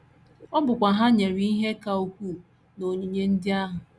Ọ bụkwa Ha nyere ihe ka ukwuu n’onyinye ndị ahụ.